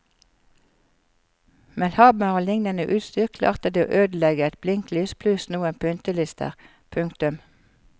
Med hammer og liknende utstyr klarte de å ødelegge et blinklys pluss noen pyntelister. punktum